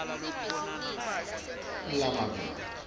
bhala emaphuzu lamabili